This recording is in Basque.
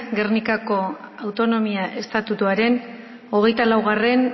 gernikako autonomia estatutuaren hogeita laugarrena